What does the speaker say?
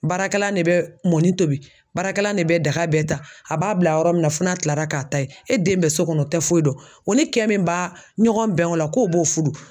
Baarakɛlan de bɛ mɔnni tobi, baarakɛlan de bɛ daga bɛɛ ta, a b'a bila yɔrɔ min na f'o na kilara k'a ta ye, e den bɛ so kɔnɔ o tɛ foyi dɔn, o ni kɛn min ba ɲɔgɔn bɛn o la k'o b'o furu.